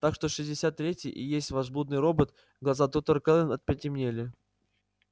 так что шестьдесят третий и есть ваш блудный робот глаза доктора кэлвин потемнели